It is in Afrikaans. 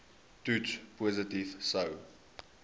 toets positief sou